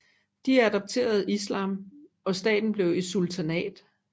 De adopterede islam og staten blev et sultanat